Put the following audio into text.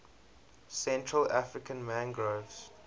central african mangroves